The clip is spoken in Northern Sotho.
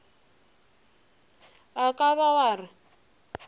o ka ba wa re